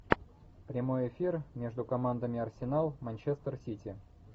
прямой эфир между командами арсенал манчестер сити